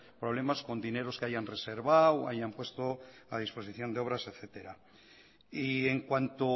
problemas con dineros que hayan reservado hayan puesto a disposición de obras etcétera y en cuanto